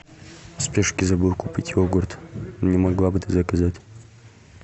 в спешке забыл купить йогурт не могла бы ты заказать